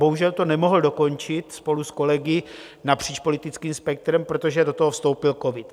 Bohužel to nemohl dokončit spolu s kolegy napříč politickým spektrem, protože do toho vstoupil covid.